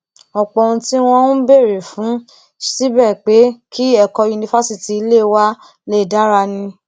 ọpọ ohun tí wọn ń béèrè fún ṣebí pé kí ẹkọ yunifásitì ilé wa lè dára ni